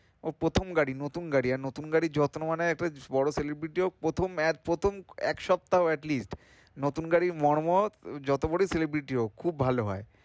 ও প্রথম গাড়ি নতুন গাড়ি আর নতুন গাড়ির যত্ন মানে একটা বড় celebrity ও প্রথম আহ প্রথম এক সপ্তাহ at least নতুন গাড়ির মর্ম যত বড়োই celebrity হোক খুব ভালো হয়,